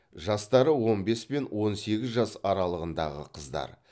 жастары он бес пен он сегіз жас аралығындағы қыздар